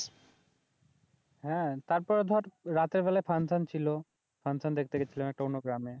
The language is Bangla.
হ্যাঁ, তারপরে ধর রাতের বেলা ফাঙ্কশন ছিলো ফাঙ্কশন দেখতে গেছিলাম একটা অন্য গ্রামে